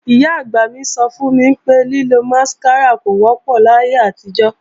Ìyá-àgbà mí sọ fún mi pé, lílo másíkárà kò wọ́pọ̀ láyé àtijọ́